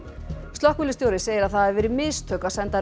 slökkviliðsstjóri segir að það hafi verið mistök að senda